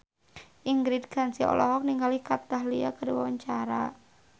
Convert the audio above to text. Ingrid Kansil olohok ningali Kat Dahlia keur diwawancara